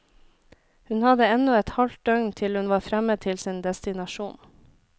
Hun hadde ennå et halvt døgn til hun var fremme til sin destinasjon.